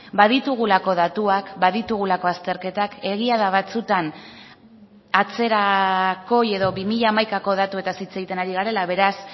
baditugulako datuak baditugulako azterketak egia da batzuetan atzerakoi edo bi mila hamaikako datuetaz hitz egiten ari garela beraz